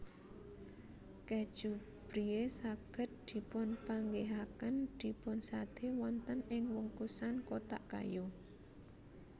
Kèju Brie saged dipunpanggihaken dipunsadé wonten ing wungkusan kotak kayu